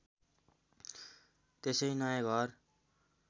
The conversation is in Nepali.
त्यसै नयाँ घर